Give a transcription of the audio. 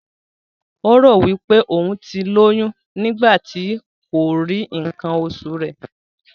Ó rò wí pé òún ti lóyún nígbà tí kò rí ǹǹkan osù rẹ.